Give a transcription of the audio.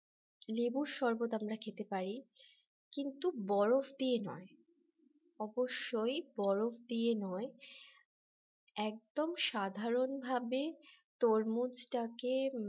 লেবুর শরবত আমরা খেতে পারি কিন্তু বরফ দিয়ে নয় অবশ্যই বরফ দিয়ে নয় একদম সাধারনভাবে তরমুজটাকে